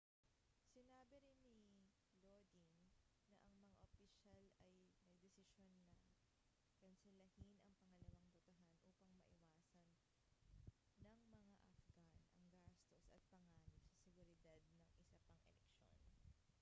sinabi rin ni lodin na ang mga opisyal ay nagdesisyon na kanselahin ang pangalawang botohan upang maiwasan ng mga afghan ang gastos at panganib sa seguridad ng isa pang eleksyon